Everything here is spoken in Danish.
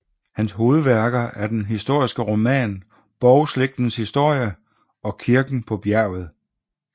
Hans hovedværker er den historiske roman Borgslægtens Historie og Kirken paa Bjærget